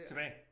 Tilbage